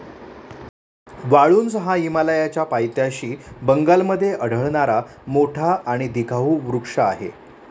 वाळुंज हा हिमालयाच्या पायथ्याशी बंगालमधे आढळणारा मोठा आणि दिखाऊ वृक्ष आहे.